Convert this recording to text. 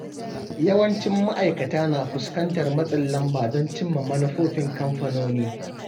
Yawancin ma’aikata na fuskantar matsin lamba don cimma manufofin kamfanoni.